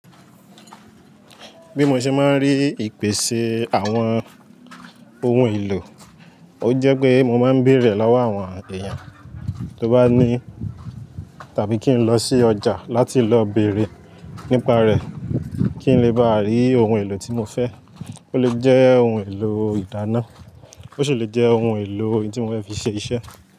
Bí mo ṣe máa ń rí ìpèsè àwọn ohun èlò, ó jẹ́ pé mọ máa ń bèrè lọ́wọ́ àwọn èèyàn tó bá ní tàbí kí n lọ sí ọjà láti lọ bèrè nípa rẹ̀, kí n lè bá rí ohun èlò tí mo fẹ́. Ó lè jẹ́ ohun èlò ìdáná, ó ṣì lè jẹ́ ohun èlò ohun tí mo fi ṣe iṣẹ́.